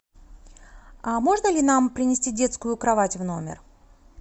а можно ли нам принести детскую кровать в номер